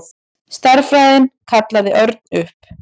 Stærðfræðin kallaði Örn upp.